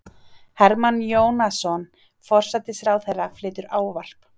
Hermann Jónasson, forsætisráðherra, flytur ávarp.